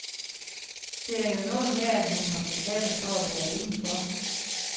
Det er jo noget med, at man må betale for at være inden for.